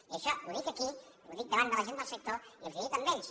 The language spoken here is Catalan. i això ho dic aquí ho dic davant del sector i els ho he dit a ells